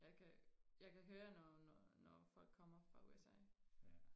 jeg kan jeg kan høre når når når folk kommer fra USA